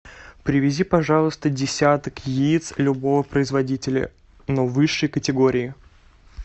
привези пожалуйста десяток яиц любого производителя но высшей категории